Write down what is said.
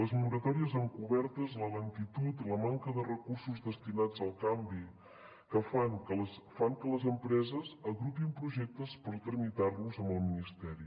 les moratòries encobertes la lentitud la manca de recursos destinats al canvi fan que les empreses agrupin projectes per tramitar los amb el ministeri